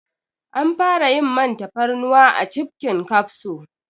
An fara yin man tafarnuwa a cibbbbhhkin kafso